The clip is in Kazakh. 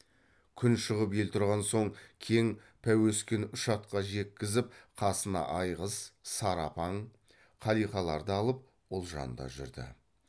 күн шығып ел тұрған соң кең пәуескені үш атқа жеккізіп қасына айғыз сары апаң қалиқаларды алып ұлжан да жүрді